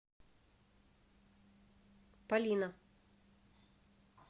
полина